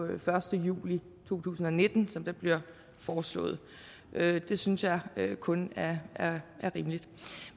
den første juli to tusind og nitten som der bliver foreslået det synes jeg kun er rimeligt